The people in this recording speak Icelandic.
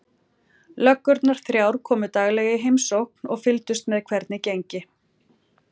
Löggurnar þrjár komu daglega í heimsókn og fylgdust með hvernig gengi.